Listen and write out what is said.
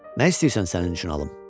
Nə istəyirsən sənin üçün alım?